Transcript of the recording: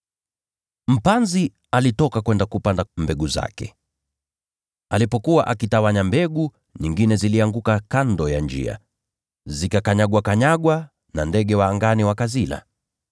“Mpanzi alitoka kwenda kupanda mbegu zake. Alipokuwa akitawanya mbegu, nyingine zilianguka kando ya njia; zikakanyagwa, nao ndege wa angani wakazila.